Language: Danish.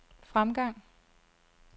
fremgang